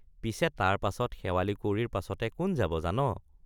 পিছে তাৰ পাছত শেৱালি কুঁৱৰীৰ পাছতে কোন যাব জান?